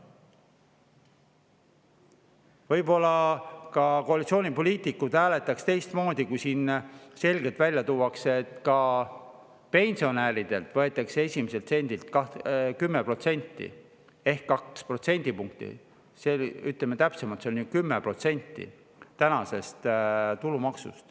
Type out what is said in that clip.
Võib-olla ka koalitsioonipoliitikud hääletaks teistmoodi, kui siin selgelt välja toodaks, et pensionäridelt võetakse esimesest sendist 10% ehk 2 protsendipunkti – ütleme täpsemalt, see on ju 10% – tulumaksu.